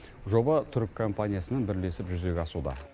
жоба түрік компаниясымен бірлесіп жүзеге асуда